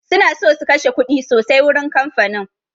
Suna so su kashe kuɗi sosai wurin kamfain